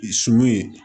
Sun ye